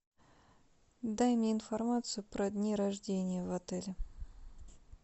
дай мне информацию про дни рождения в отеле